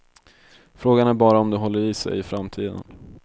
Frågan är bara om det håller i sig i framtiden.